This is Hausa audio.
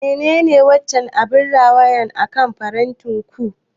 Menene wancan abin rawaya akan farantin ku?